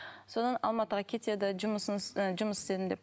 содан алматыға кетеді і жұмыс істедім деп